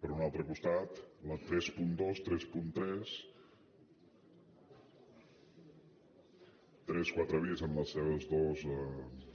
per un altre costat la trenta dos trenta tres trenta quatre bis en les seves dues